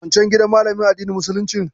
Wancen gidan malamin addinin musuluncin.